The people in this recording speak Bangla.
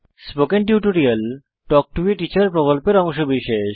spoken tutorial talk to a teacher প্রকল্পের অংশবিশেষ